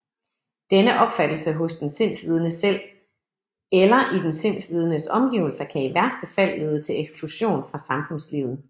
Denne opfattelse hos den sindslidende selv eller i den sindslidendes omgivelser kan i værste fald lede til eksklusion fra samfundslivet